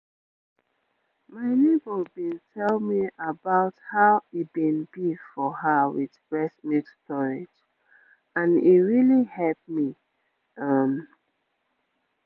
my neighbor been tell me about how e been be for her with breast milk storage and e really help me um